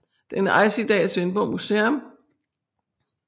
Den ejes i dag af Svendborg Museum